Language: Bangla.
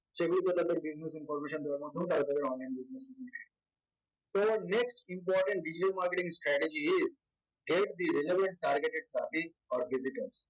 সেগুলোতে তাদের business information দেওয়ার মাধ্যমে তারা তাদের online business so next important digital marketing strategy is the relevant targeted traffic of visitors